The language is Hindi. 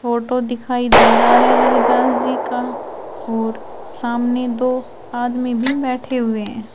फोटो दिखाई दे रहा है रविदास जी का और सामने दो आदमी भी बैठे हुए हैं।